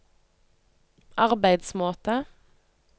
arbeidsmåte